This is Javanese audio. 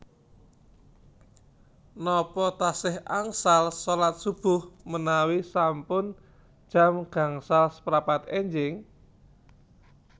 Nopo tasih angsal solat subuh menawi sampun jam gangsal seprapat enjing?